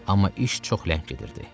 Amma iş çox ləng gedirdi.